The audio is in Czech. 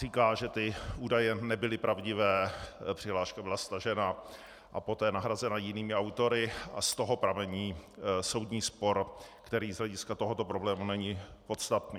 Říká, že ty údaje nebyly pravdivé, přihláška byla stažena a poté nahrazena jinými autory a z toho pramení soudní spor, který z hlediska tohoto problému není podstatný.